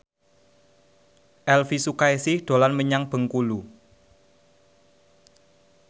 Elvi Sukaesih dolan menyang Bengkulu